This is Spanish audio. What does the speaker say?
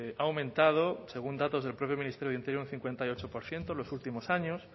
ha aumentado según datos del propio ministerio del interior un cincuenta y ocho por ciento en los últimos años